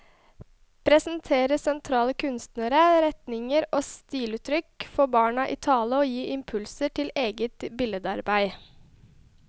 Presentere sentrale kunstnere, retninger og stiluttrykk, få barna i tale og gi impulser til eget billedarbeid.